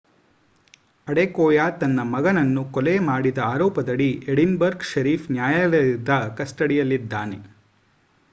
Adekoya ತನ್ನ ಮಗನನ್ನು ಕೊಲೆ ಮಾಡಿದ ಆರೋಪದಡಿ ಎಡಿನ್ಬರ್ಗ್ ಶೆರಿಫ್ ನ್ಯಾಯಾಲಯದ ಕಸ್ಟಡಿಯಲ್ಲಿದ್ದಾನೆ